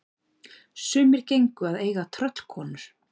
Sumir gengu að eiga tröllkonur.